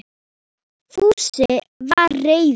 Fúsi var reiður.